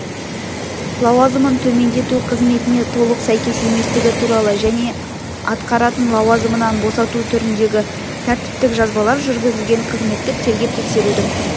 лауазымын төмендету қызметіне толық сәйкес еместігі туралы және атқаратын лауазымынан босату түріндегі тәртіптік жазалар жүргізілген қызметтік тергеп-тексерудің